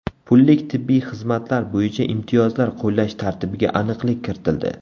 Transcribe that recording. Pullik tibbiy xizmatlar bo‘yicha imtiyozlar qo‘llash tartibiga aniqlik kiritildi.